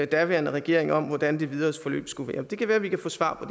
daværende regering om hvordan det videre forløb skulle være det kan være vi kan få svar på